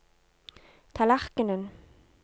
tallerkenen